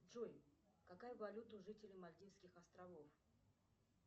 джой какая валюта у жителей мальдивских островов